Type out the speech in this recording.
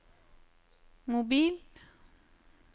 mobil